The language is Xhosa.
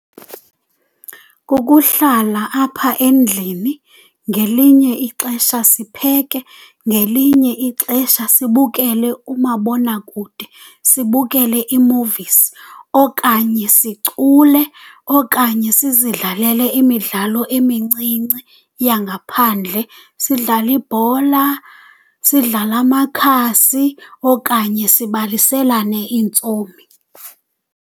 Kukuhlala apha endlini, ngelinye ixesha sipheke, ngelinye ixesha sibukele umabonakude, sibukele ii-movies, okanye sicule, okanye sizidlalele imidlalo emincinci yangaphandle. Sidlale ibhola, sidlale amakhasi okanye sibaliselane iintsomi.